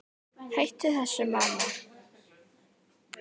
Hættu þessu, mamma!